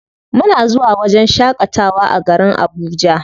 Muna zuwa wajen shaƙatawa a garin Abuja.